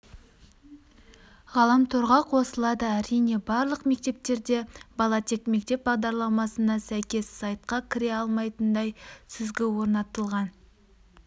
ғаламторға қосылады әрине барлық мектептерде бала тек мектеп бағдарламасына сәйкес сайтқа кіре алатындай сүзгі орнатылған